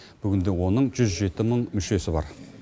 бүгінде оның жүз жеті мың мүшесі бар